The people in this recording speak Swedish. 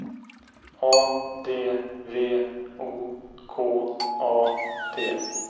A D V O K A T